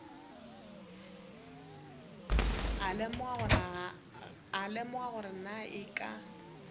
lemoga gore na e ka